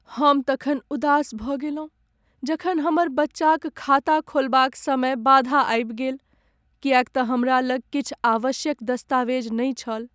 हम तखन उदास भऽ गेलहुँ जखन हमर बच्चाक खाता खोलबाक समय बाधा आबि गेल किएक तँ हमरा लग किछु आवश्यक दस्तावेज नहि छल।